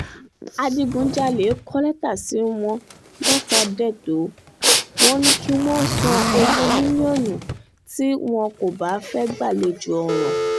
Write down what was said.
adigunjalè kọ lẹ́tà sí wọn lọ́tàdétò wọn ni kí wọ́n san ogún mílíọ̀nù tí wọn kò um bá fẹ́ẹ́ gbàlejò ọ̀ràn um